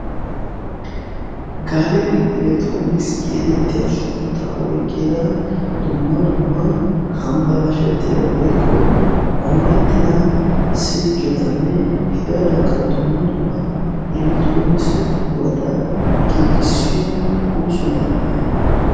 'Galery Elekitronkissiya' getettiya suntta oyqqidia dumma dumma hambbalashettida woykko moorettida silkketanne hegadankka dumma dumma elekitronikise buqurata giigissiyo ooso man''iyaa.